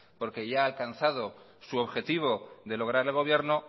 porque ya ha alcanzado su objetivo de lograr el gobierno